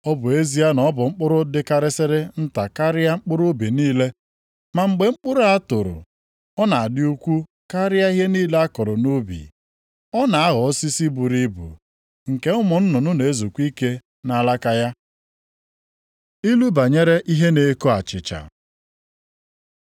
Ọ bụ ezie na ọ bụ mkpụrụ dịkarịsịrị nta karịa mkpụrụ ubi niile, ma mgbe mkpụrụ a toro, ọ na-adị ukwuu karịa ihe niile a kụrụ nʼubi. Ọ na-aghọ osisi buru ibu, nke ụmụ nnụnụ na-ezukwa ike nʼalaka ya.” Ilu banyere ihe na-eko achịcha